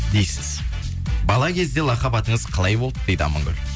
дейсіз бала кезде лақап атыңыз қалай болды дейді амангүл